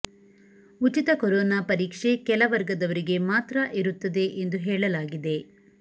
ಉಚಿತ ಕೊರೋನಾ ಪರೀಕ್ಷೆ ಕೆಲ ವರ್ಗದವರಿಗೆ ಮಾತ್ರ ಇರುತ್ತದೆ ಎಂದು ಹೇಳಲಾಗಿದೆ